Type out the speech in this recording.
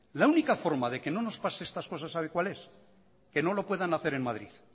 la única forma de que no nos pase estas cosas sabe cuál es que no lo puedan hacer en madrid